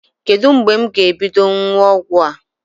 Kedu mgbe m ga-ebido ṅụwa ọgwụ a?